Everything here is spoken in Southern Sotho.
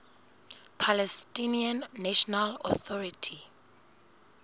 palestinian national authority